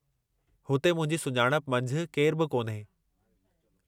हुते मुंहिंजी सुञाणप मंझि केरु बि कोन्हे।